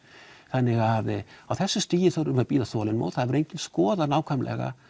þannig á þessu stígi verðum við að bíða þolinmóð það hefur enginn skoðað nákvæmlega